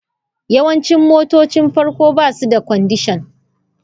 Yawancin motocin farko ba su da kwandishan.